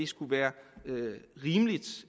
skulle være rimeligt